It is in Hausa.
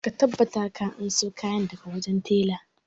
Ka tabbata ka anso kayana daga wajen tela!